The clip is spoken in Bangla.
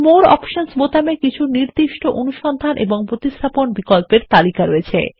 মোরে অপশনস বোতামে কিছু নির্দিষ্ট অনুসন্ধান ও প্রতিস্থাপন বিকল্পের একটি তালিকা রয়েছে